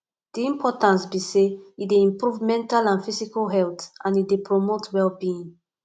di importance be say e dey improve mental and physical health and e dey promote wellbeing